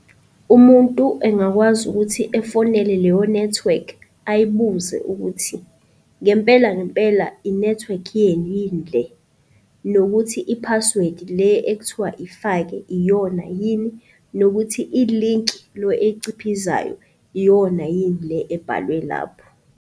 Umuntu engakwazi ukuthi efonele leyo nethiwekhi ayibuze ukuthi, ngempela ngempela inethiwekhi yenu yini le, nokuthi i-password le ekuthiwa ifake iyona yini, nokuthi ilinki lo oyciphizayo iyona yini le ebhalwe lapho.